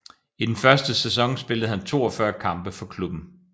I den første sæson spillede han 42 kampe for klubben